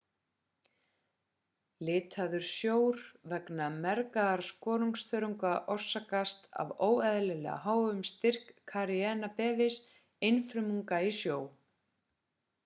litaður sjór vegna mergðar skoruþörunga orsakast af óeðlilega háum styrk karenia brevis einfrumunga í sjó